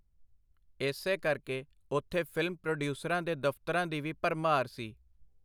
ਏਸੇ ਕਰਕੇ ਓਥੇ ਫਿਲਮ-ਪਰੋਡੀਊਸਰਾਂ ਦੇ ਦਫਤਰਾਂ ਦੀ ਵੀ ਭਰਮਾਰ ਸੀ.